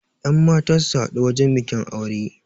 yanmata su haɗu wajen bikin aure